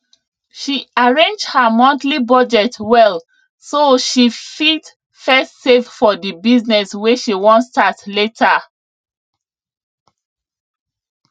she arrange her monthly budget well so she fit first save for the business wey she wan start later